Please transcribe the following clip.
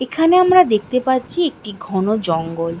এখানে আমরা দেখতে পাচ্ছি একটি ঘন জঙ্গল।